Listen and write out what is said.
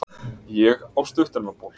Ég á stuttermabol.